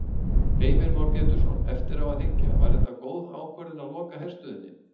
Heimir Már Pétursson: Eftir á að hyggja, var það góð ákvörðun að loka herstöðinni?